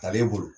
A bɛ bolo